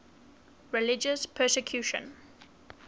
religious persecution